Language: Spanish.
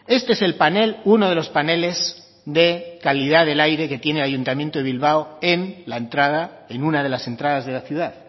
este es el panel uno de los paneles de calidad del aire que tiene el ayuntamiento de bilbao en la entrada en una de las entradas de la ciudad